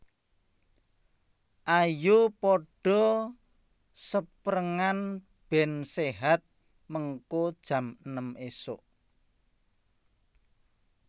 Ayo podo seprengan ben sehat mengko jam enem isuk